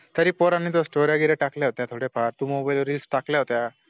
तरी पोर्यानी storya storya टाकल्या होत्या थोडे फार तू mobile वर reels टाकल्या होत्या